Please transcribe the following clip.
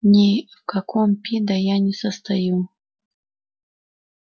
ни в каком пидо я не состою